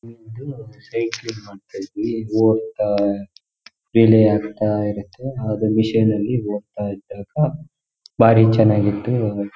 ಇದು ಅಂತ ಹೇಳಿ ಇದ್ ಹೋಗ್ತಾ ಎಳೆ ಆಗ್ತಾ ಇರತ್ತೆ ಆದ್ರೆ ಮಿಷನ್ ಅಲ್ಲಿ ಹೋಗ್ತಾ ಇರ್ಬೇಕು ಭಾರಿ ಚನಾಗ್ ಇತ್ತು .